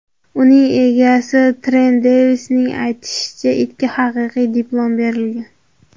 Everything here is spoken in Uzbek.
Uning egasi Tren Devisning aytishicha, itga haqiqiy diplom berilgan.